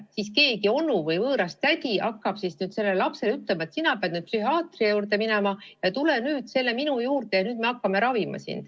Ja siis keegi võõras onu või tädi hakkab lapsele ütlema, et sina pead nüüd psühhiaatri juurde minema või et tule nüüd minu juurde ja me hakkame sind ravima.